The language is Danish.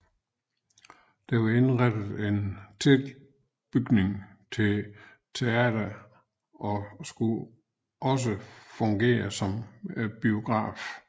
Den var indrettet i en tilbygning til teatret og skulle også fungere som biograf